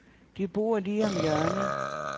De bor lige om hjørnet.